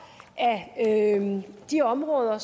af de områder